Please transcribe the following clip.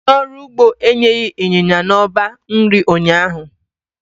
Onye ọrụ ugbo enyeghị ịnyịnya n'ọba nri ụnyaahụ.